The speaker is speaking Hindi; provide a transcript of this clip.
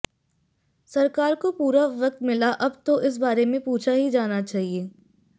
सरकार को पूरा वक्त मिला अब तो इस बारे में पूछा ही जाना चाहिए